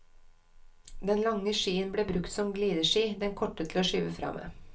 Den lange skien ble brukt som glideski, den korte til å skyve fra med.